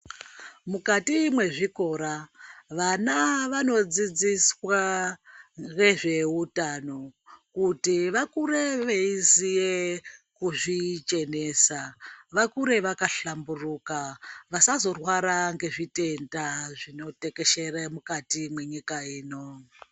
Mukati mwezvikora vana vanodzidziswa ngezveutano kuti vakure veiziye kuzvichenesa vakure vakahlamburuka vasazorwara ngezvitenda zvinotekeshere mukati mwenyika ino.